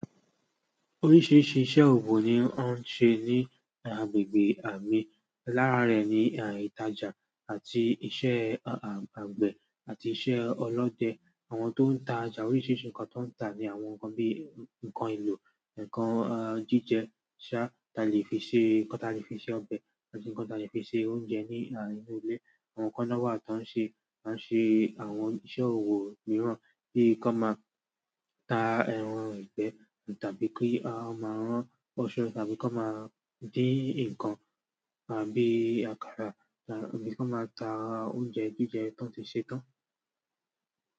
Oríṣiríṣi iṣẹ́ owo ni wọ́n ń ṣe ní agbègbè à ń mí. Lára rẹ̀ ni ìtajà àti iṣẹ́ àgbẹ̀ àti iṣẹ́ ọlọ́dẹ. Àwọn tó ń tajà oríṣiríṣi ǹkan tó ń tà ni àwọn ǹkan bíi ǹkan elò, ǹkan jíjẹ ṣá, tí a lè fi ṣe, ǹkan tí a lè fi ṣe ọbẹ̀ àti ǹkan tí a lè fi ṣe oúnjẹ ní à nínú ilé. Àwọn kan náà wà tí wọ́n ṣe, wọ́n ṣe àwọn iṣẹ́ owo mìíràn bí kan máa ta ẹran ìgbẹ́ tàbí kí a máa rán aṣọ àbí kí wọ́n máa dín ǹkan àbí àkàrà tàbí kí wọ́n máa ta oúnjẹ jíjẹ tán ti ṣe tán.